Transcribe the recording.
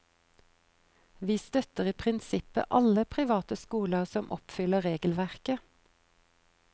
Vi støtter i prinsippet alle private skoler som oppfyller regelverket.